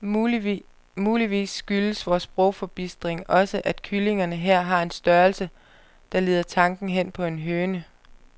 Muligvis skyldes vor sprogforbistring også, at kyllingerne her har en størrelse, der leder tanken hen på en høne.